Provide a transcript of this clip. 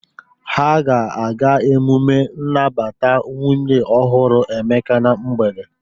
Ha ga-aga emume nnabata nwunye ọhụrụ Emeka na mgbede?